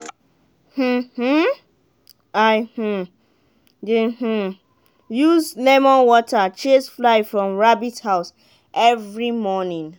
um i um dey um use lemon water chase fly from rabbit house every morning.